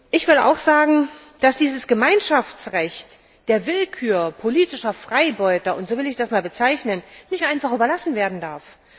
Ich will auch sagen, dass dieses Gemeinschaftsrecht der Willkür politischer Freibeuter und so will ich das bezeichnen nicht einfach überlassen werden darf.